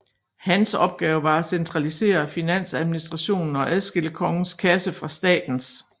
Hans opgave var at centralisere finansadministrationen og adskille kongens kasse fra statens